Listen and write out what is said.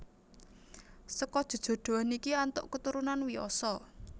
Seka jejodhoan iki antuk keturunan Wiyasa